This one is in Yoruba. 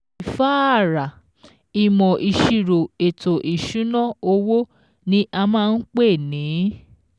ÌFÁÀRÀ: ìmọ̀ ìṣirò ètò ìṣúná owó ní a máa ń pè ní.